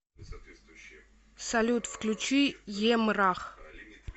салют включи емрах